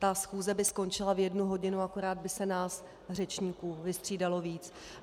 Ta schůze by skončila v jednu hodinu, akorát by se nás řečníků vystřídalo víc.